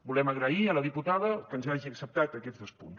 volem agrair a la diputada que ens hagi acceptat aquests dos punts